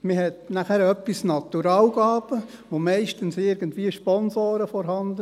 Dann hat man etwas an Naturalgaben, meistens sind auch irgendwo Sponsoren vorhanden.